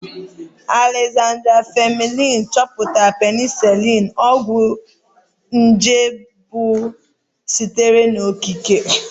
Alexander Fleming chọpụtara penisiliini, ọgwụ nje mbụ sitere n'okike.